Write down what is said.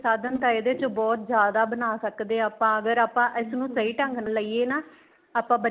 ਸਾਧਨ ਤਾਂ ਇਹਦੇ ਤੋਂ ਬਹੁਤ ਜਿਆਦਾ ਬਣਾ ਸਕਦੇ ਹਾਂ ਆਪਾਂ ਅਗਰ ਆਪਾਂ ਇਸ ਨੂੰ ਸਹੀਂ ਢੰਗ ਨਾਲ ਲਈਏ ਨਾ ਆਪਾਂ